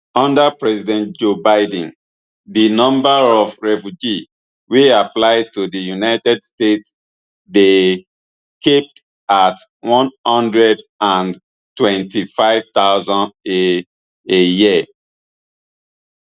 under president joe biden di number of refugee wey apply to di united states dey capped at one hundred and twenty-five thousand a a year